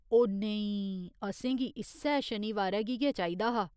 ओह नेईं, असेंगी इस्सै शनिवारै गी गै चाहिदा हा।